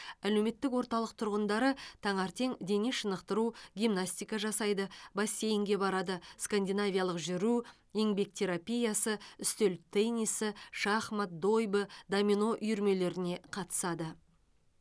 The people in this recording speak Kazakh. әлеуметтік орталық тұрғындары таңертең дене шынықтыру гимнастика жасайды бассейнге барады скандинавиялық жүру еңбек терапиясы үстел теннисі шахмат дойбы домино үйірмелеріне қатысады